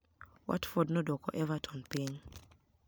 Watford nodwoko Evertoni piniy.